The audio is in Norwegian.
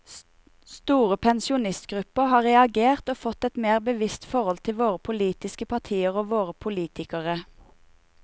Store pensjonistgrupper har reagert og fått et mer bevisst forhold til våre politiske partier og våre politikere.